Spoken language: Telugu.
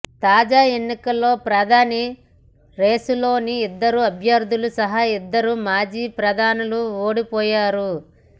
తాజా ఎన్నికల్లో ప్రధాని రేసులోని ఇద్దరు అభ్యర్థులు సహా ఇద్దరు మాజీ ప్రధానులూ ఓడిపోయారు